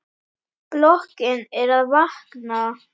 Bílar sigla lúshægt hjá.